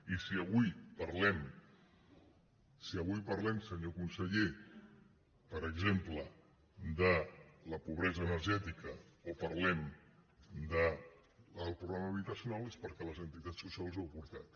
i si avui parlem senyor conseller per exemple de la pobresa energètica o parlem del problema habitacional és perquè les entitats socials ho heu portat